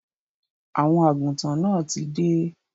Àwọn àgùntàn náà tí dé.